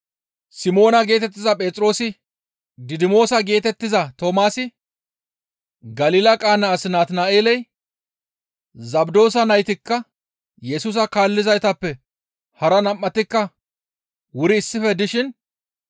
Simoona geetettiza Phexroosi, Didimoosa geetettiza Toomaasi, Galila Qaana as Natina7eeley, Zabdoosa naytikka Yesusa kaallizaytappe hara nam7atikka wuri issife dishin